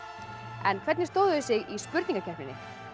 en hvernig stóðu þau sig í spurningakeppninni